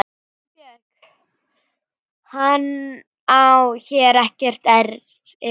GUÐBJÖRG: Hann á hér ekkert erindi.